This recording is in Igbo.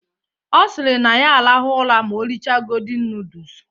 Ọ sịrị na ya arahụ ụra ma o richa godin nudus